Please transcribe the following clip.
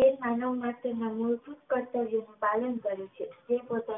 એ માનવ માટે